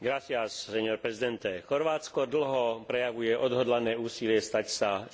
Chorvátsko dlho prejavuje odhodlané úsilie stať sa členom Európskej únie.